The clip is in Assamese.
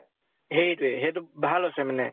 সেইটোয়ে। সেইটো ভাল হৈছে মানে।